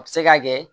A bɛ se ka kɛ